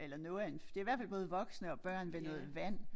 Eller noget af en det i hvert fald både voksne og børn ved noget vand